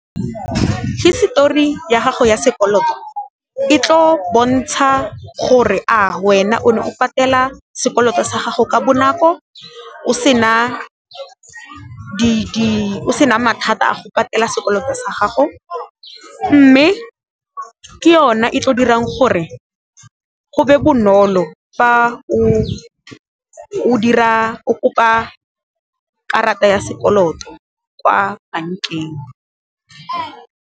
Hisetori ya gago ya sekoloto e tlo bontsha gore, a wena o ne o patela sekoloto sa gago ka bonako o sena mathata a go patela sekoloto sa gago, mme ke yone e tlo dirang gore go be bonolo fa o kopa karata ya sekoloto kwa bankeng.